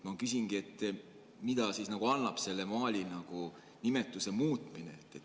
Ma küsingi, et mida annab selle maali nimetuse muutmine.